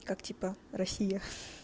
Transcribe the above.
как типа россия